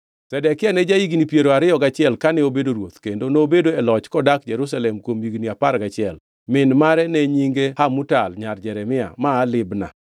Zedekia ne ja-higni piero ariyo gachiel kane obedo ruoth, kendo nobedo e loch kodak Jerusalem kuom higni apar gachiel. Min mare ne nyinge Hamutal nyar Jeremia; ma aa Libna.